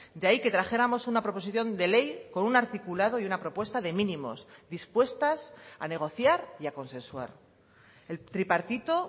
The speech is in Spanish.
de ahí que trajéramos una proposición de ley con un articulado y una propuesta de mínimos dispuestas a negociar y a consensuar el tripartito